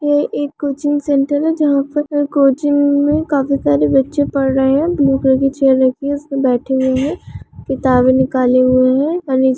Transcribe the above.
ये एक coaching centre है जहाँ पर कोचिंग मैं काफी सरे बच्चे पढ़ रहे है बैठे हुए है किताबे निकले हुए है। और--